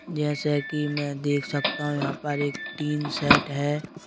जैसे कि मैं देख सकता हूं यहां पर एक टीन सेट है।